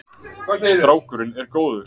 Strákurinn er góður.